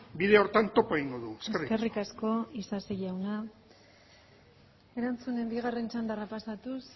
bide horretan topo egingo dugu eskerrik asko eskerrik asko isasi jauna erantzunen bigarren txandara pasatuz